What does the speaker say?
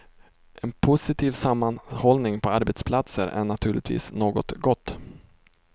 En positiv sammanhållning på arbetsplatser är naturligtvis något gott.